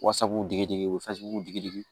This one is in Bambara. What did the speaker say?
Wasabu digidigi